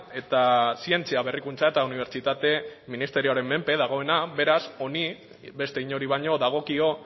eta zientzia berrikuntza eta unibertsitate ministerioaren menpe dagoena beraz honi beste inori baino dagokio